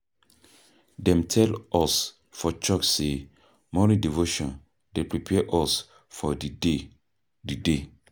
Dem tell us for church sey morning devotion dey prepare us for di day. di day.